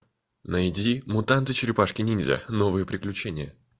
найди мутанты черепашки ниндзя новые приключения